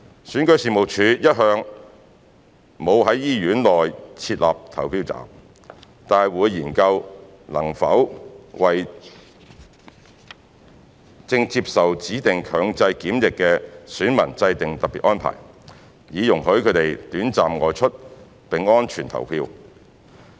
選舉事務處一向沒有在醫院內設立投票站，但會研究能否為正接受指定強制檢疫的選民制訂特別安排，以容許他們短暫外出並安全地投票。